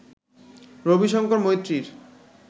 Rabi Shankar মৈত্রীর